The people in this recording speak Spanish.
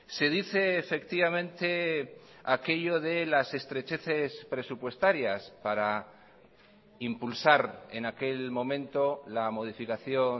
se dice efectivamente aquello de las estrecheces presupuestarias para impulsar en aquel momento la modificación